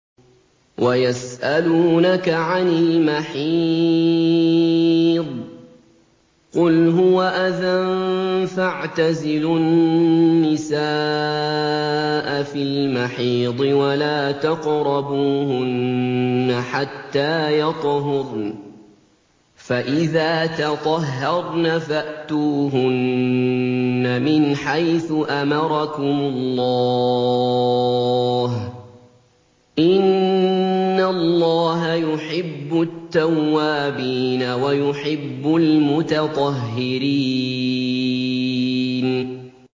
وَيَسْأَلُونَكَ عَنِ الْمَحِيضِ ۖ قُلْ هُوَ أَذًى فَاعْتَزِلُوا النِّسَاءَ فِي الْمَحِيضِ ۖ وَلَا تَقْرَبُوهُنَّ حَتَّىٰ يَطْهُرْنَ ۖ فَإِذَا تَطَهَّرْنَ فَأْتُوهُنَّ مِنْ حَيْثُ أَمَرَكُمُ اللَّهُ ۚ إِنَّ اللَّهَ يُحِبُّ التَّوَّابِينَ وَيُحِبُّ الْمُتَطَهِّرِينَ